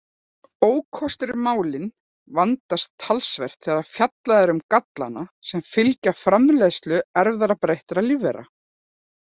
Ókostir Málin vandast talsvert þegar fjallað er um gallana sem fylgja framleiðslu erfðabreyttra lífvera.